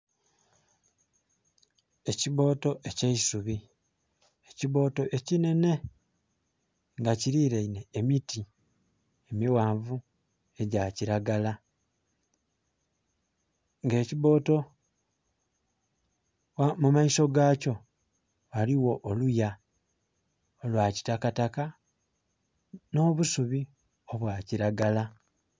Ekibooto ekya isubi, ekibooto ekinhenhe nga kiriraine emiti emighanvu egya kiragala. Nga ekibooto, mu maiso ga kyo ghaligho oluya olwa kitakataka n'obusubi obwa kiragala.